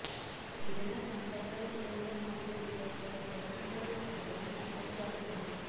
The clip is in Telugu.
ఇరినా సంప్రదాయ కుటుంబం మరియు క్రియాశీల జీవనశైలి ఒక ధృడమైన మద్దతుదారు ఉంది